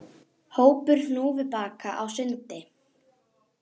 Hópur hnúfubaka á sundi